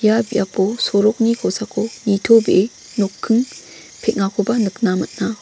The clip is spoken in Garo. ia biapo sorokni kosako nitobee nokking peng·akoba nikna man·a.